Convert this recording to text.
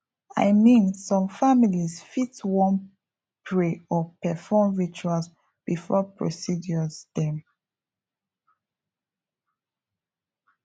i mean some families fit wan pray or perform rituals before procedures dem